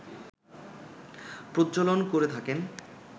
প্রজ্বলন করে থাকেন